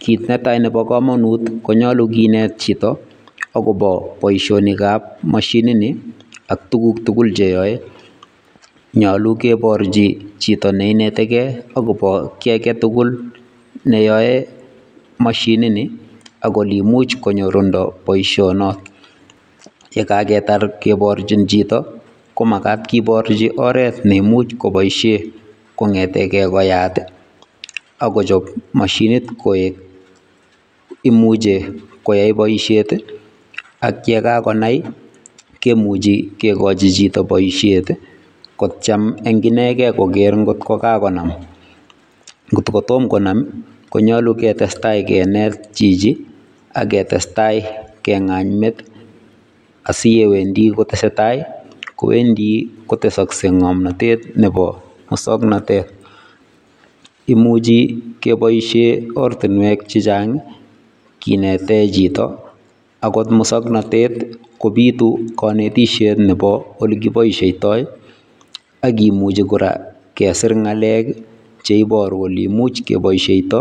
Kiit ne tai nebo kamanut konyolu kinet chito akobo boisionikab moshinitni ak tuguk tugul cheyoe, nyolu keporchi chito ne inetekei akobo kiiy age tugul neyoe mashinini ak ole imuch konyorundo boisionot. Ye kaketar kiporchin chito komakat kiporchi oret ne imuch kopoishe kongetekee koyat ako koyat mashinit koek, imuche koyae boisiet ak ye kakonai kikochin chito boisiet kotiem eng inekei kogeer ngokakonam, ngot kotom konam konyolu ketestai kenet chichi ak testai kengany met asiyewendi kotesetai kowendi kotesaksei ngomnatet nebo muswoknatet. Imuchi kepoishe oratinwek chechang kinete chito , akot muswoknatet kopitu kantisiet nebo ole kipoishiotoi ak kimuchei kora kesiir ngalek che iporu ole imuch kepoishiondo